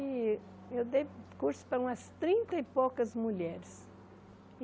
E eu dei curso para umas trinta e poucas mulheres.